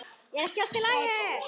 Er ekki allt í lagi?